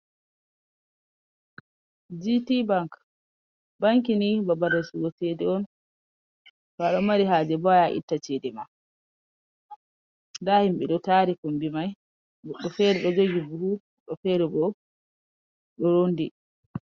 Gtbank, banki ni babal rasugo cede on, to aɗo mari hajebo aya a itta cede ma, nda himɓe ɗo tari kumbi mai goɗɗo fere ɗo jugi buhu goɗo bo ɗo rondi.